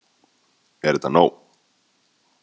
Er þetta nóg?